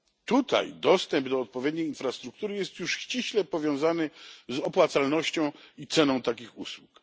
Tutaj dostęp do odpowiedniej infrastruktury jest już ściśle powiązany z opłacalnością i ceną takich usług.